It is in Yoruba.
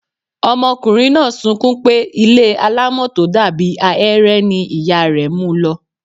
Ọmọkùnrin náà sunkún pé ilé alámọ̀ tó dàbí ahéré ni ìyá rẹ̀ mu lọ.